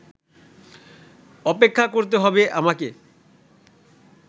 অপেক্ষা করতে হবে আমাকে